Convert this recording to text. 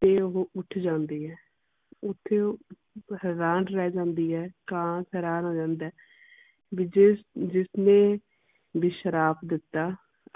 ਤੇ ਉਹ ਉੱਠ ਜਾਂਦੀ ਹੈ। ਉਥੇ ਉਹ ਹੈਰਾਨ ਰਹਿ ਜਾਂਦੀ ਹੈ ਕਾਂ ਹੈਰਾਨ ਹੋ ਜਾਂਦਾ ਹੈ ਵੀ ਜਿਸ ਜਿਸ ਨੇ ਵੀ ਸ਼ਰਾਪ ਦਿੱਤਾ